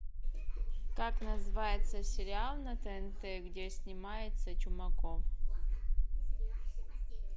как называется сериал на тнт где снимается чумаков